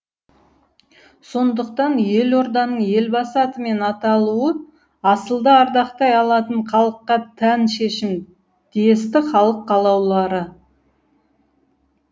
сондықтан елорданың елбасы атымен аталуы асылды ардақтай алатын халыққа тән шешім десті халық қалаулылары